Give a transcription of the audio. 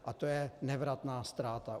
A to je nevratná ztráta.